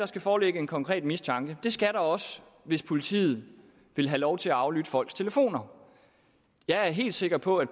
skal foreligge en konkret mistanke det skal der også hvis politiet vil have lov til at aflytte folks telefoner jeg er helt sikker på at